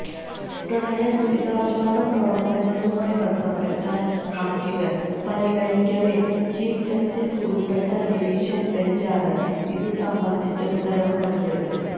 പ്രളയ ദുരിതാശ്വാസ പ്രവര്ത്തനങ്ങളുമായി ബന്ധപ്പെട്ട ഹര്ജികള് പരിഗണിക്കവെ ചീഫ് ജസ്റ്റിസ് ഉള്പ്പെട്ട ഡിവിഷന് ബെഞ്ചാണ് ഇതു സംബന്ധിച്ച ഉത്തരവ് നല്കിയത്